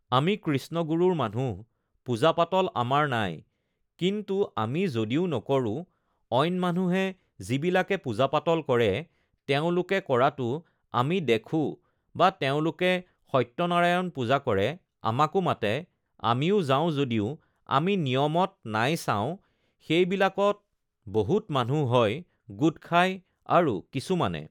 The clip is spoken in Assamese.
আমি কৃষ্ণগুৰুৰ মানুহ পূজা-পাতল আমাৰ নাই কিন্তু আমি যদিও নকৰোঁ অইন মানুহে যিবিলাকে পূজা-পাতল কৰে তেওঁলোকে কৰাটো আমি দেখোঁ বা তেওঁলোকে সত্যনাৰায়ণ পূজা কৰে আমাকো মাতে আমিও যাওঁ যদিও আমি নিয়মত নাই চাওঁ সেইবিলাকত বহুত মানুহ হয় গোট খায় আৰু কিছুমানে